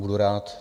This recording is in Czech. Budu rád.